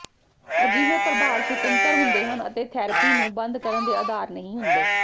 ਅਜਿਹੇ ਪ੍ਰਭਾਵ ਸੁਤੰਤਰ ਹੁੰਦੇ ਹਨ ਅਤੇ ਥੈਰਪੀ ਨੂੰ ਬੰਦ ਕਰਨ ਦੇ ਆਧਾਰ ਨਹੀਂ ਹੁੰਦੇ